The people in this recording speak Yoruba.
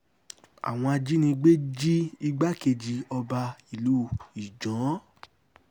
àwọn ajínigbé jí igbákejì ọba ìlú ijan